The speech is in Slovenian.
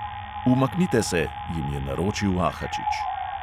"Umaknite se," jim je naročil ahačič.